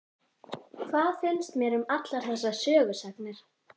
Hvað finnst mér um allar þessar sögusagnir?